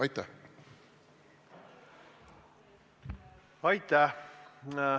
Aitäh!